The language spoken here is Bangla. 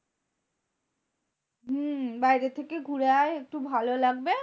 হম বাইরে থেকে ঘুরে আয় একটু ভালো লাগবে